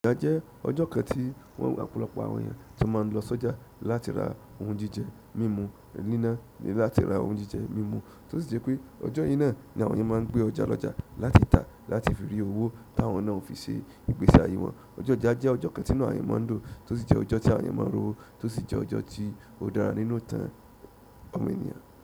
Ọjà jẹ́ ọjọ́ kan tí wọn ọ̀pọ̀lọpọ̀ àwọn èèyàn tón máa n lọ sọ́jà láti ra ohun jíjẹ mímú, níná ni láti ra ohun jíjẹ mímú tó sì jẹ́ pé ọjọ́ yí náà ni àwọn èèyàn máa ń gbé ọjà lọ́jà láti tà láti fi rí owó táwọn náà ó fi ṣe ìgbésí ayé wọn. Ọjọ́ ọjà jẹ́ ọjọ́ kan tínu àwọn èèyàn máa ń dùn tó sì jẹ́ ọjọ́ tí àwọn èèyàn máa ń rí owó tó sì jẹ́ ọjọ́ tí ó dára nínú ìtàn àwọn ènìyàn.